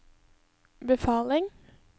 befaling